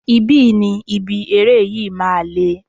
Ibi ni ibi eré yìí máa le.